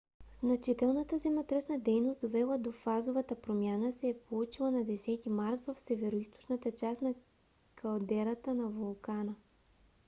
значителната земетръсна дейност довела до фазовата промяна се е получила на 10 март в североизточната част на калдерата на вулкана